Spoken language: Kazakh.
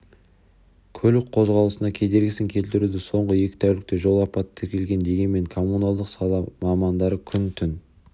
көлік қозғалысына кедергісін келтіруде соңғы екі тәулікте жол апаты тіркелген дегенмен коммуналдық сала мамандары күн-түн